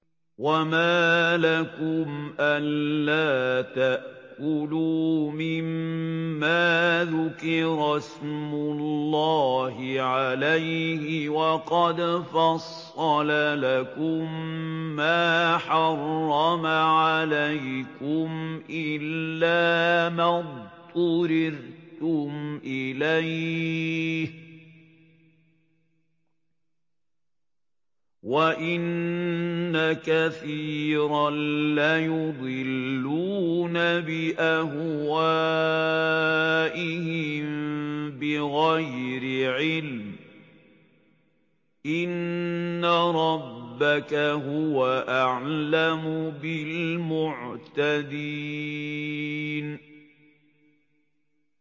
وَمَا لَكُمْ أَلَّا تَأْكُلُوا مِمَّا ذُكِرَ اسْمُ اللَّهِ عَلَيْهِ وَقَدْ فَصَّلَ لَكُم مَّا حَرَّمَ عَلَيْكُمْ إِلَّا مَا اضْطُرِرْتُمْ إِلَيْهِ ۗ وَإِنَّ كَثِيرًا لَّيُضِلُّونَ بِأَهْوَائِهِم بِغَيْرِ عِلْمٍ ۗ إِنَّ رَبَّكَ هُوَ أَعْلَمُ بِالْمُعْتَدِينَ